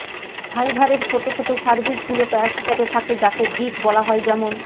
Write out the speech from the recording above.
ফাইভারের ছোট ছোট সার্ভিস গুলো প্যাক হিসাবে থাকে যাকে গিগ বলা হয় যেমন